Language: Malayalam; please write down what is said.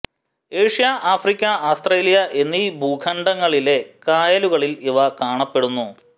ഏഷ്യ ആഫ്രിക്ക ആസ്ത്രേലിയ എന്നീ ഭൂഖണ്ഡങ്ങളിലെ കായലുകളിൽ ഇവ കാണപ്പെടുന്നു